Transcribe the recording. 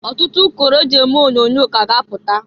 Ọtụtụ ụkọrọ e ji eme onyoonyo ka a ga-apụta.